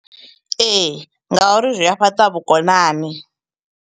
Ee, ngauri zwi ya fhaṱa vhukonani.